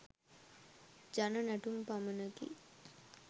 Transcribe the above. ජන නැටුම් පමණකි.